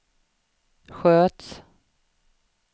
sköts